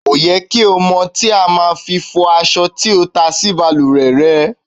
Kò yẹ kí ó mọ́ tí o má a fi fọ̀ aṣọ tí o ta sí balùwẹ̀ re.